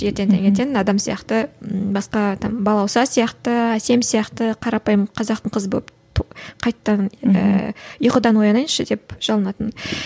адам сияқты м басқа там балауса сияқты әсем сияқты қарапайым қазақтың қызы болып қайтадан ыыы ұйқыдан оянайыншы деп жалынатынмын